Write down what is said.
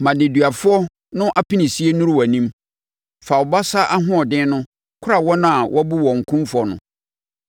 Ma nneduafoɔ no apinisie nnuru wʼanim; fa wo basa ahoɔden no kora wɔn a wɔabu wɔn kumfɔ no.